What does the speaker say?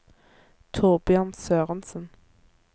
Torbjørn Sørensen